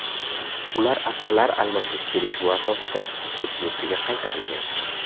Ular asirlar almashish kelishuvi asosida o‘z yurtiga qaytarilgan.